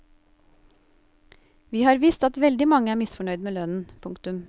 Vi har visst at veldig mange er misfornøyd med lønnen. punktum